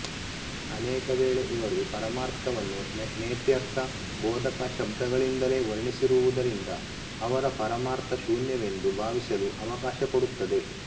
ಅನೇಕ ವೇಳೆ ಇವರು ಪರಮಾರ್ಥವನ್ನು ನೇತ್ಯರ್ಥ ಬೋಧಕ ಶಬ್ದಗಳಿಂದಲೇ ವರ್ಣಿಸಿರುವುದರಿಂದ ಅವರ ಪರಮಾರ್ಥ ಶೂನ್ಯವೆಂದು ಭಾವಿಸಲು ಅವಕಾಶ ಕೊಡುತ್ತದೆ